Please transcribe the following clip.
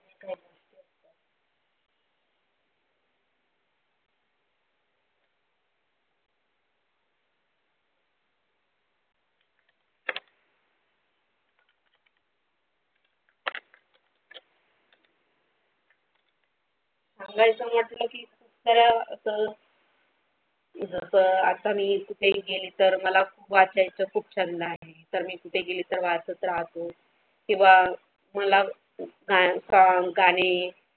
माझ्या असं म्हटलं की जर असं जसं आता मी कुठेही गेली तर मला खूप वाचायच खूप छंद आहे तर मी कुठे गेली तर वाचत राहते किंवा मला गाणे.